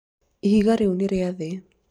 ihiga rĩu nĩ rĩa thĩ